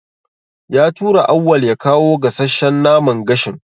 Ya tura Auwal ya kawo gasasshan naman gashin.